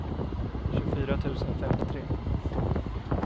tjugofyra tusen femtiotre